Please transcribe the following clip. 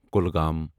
Kulgam